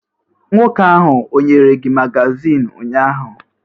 Nwoke ahụ o nyere gị magazin ụnyahụ?